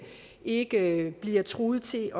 ikke bliver truet til